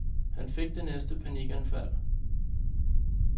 Her fik han det næste panikanfald.